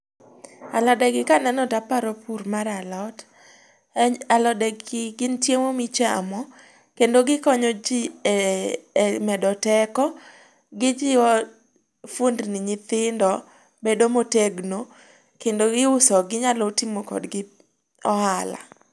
Alode gi kaneno taparo pur mar alot. Alode gi gin chiemo michamo, kendo gikonyo ji e medo teko. Gijiwo fuondni nyithindo bedo motegno, kendo iuso gi. Inyalo timo kodgi ohala.